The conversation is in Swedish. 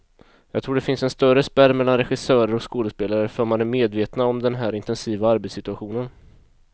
Jag tror det finns en större spärr mellan regissörer och skådespelare, för man är medvetna om den här intensiva arbetssituationen.